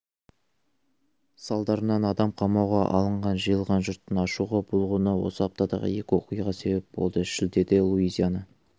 салдарынан адам қамауға алынған жиылған жұрттың ашуға булығуына осы аптадағы екі оқиға себеп болды шілдеде луизиана